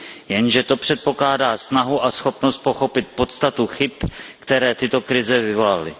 Jenže to předpokládá snahu a schopnost pochopit podstatu chyb, které tyto krize vyvolaly.